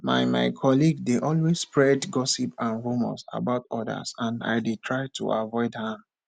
my my colleague dey always spread gossip and rumors about others and i dey try to avoid am